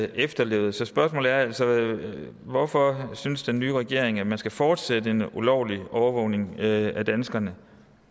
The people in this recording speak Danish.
efterlevet så spørgsmålet er altså hvorfor synes den nye regering at man skal fortsætte en ulovlig overvågning af danskerne